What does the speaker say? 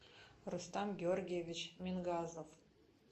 рустам георгиевич мингазов